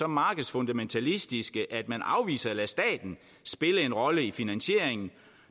markedsfundamentalistiske at man afviser at lade staten spille en rolle i finansieringen